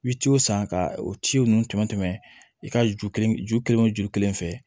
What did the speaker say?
I bɛ ciw san ka o ciw tɛmɛ i ka ju kelen ju kelen o ju kelen fɛ